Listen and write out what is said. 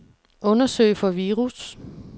Undersøg for virus.